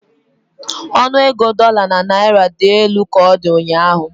Ọnụ ego dola na naira dị elu ka ọ dị ụnyahụ.